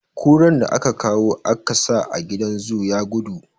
Kuran da aka kawo a ka sa a gidan zoo ya gudu.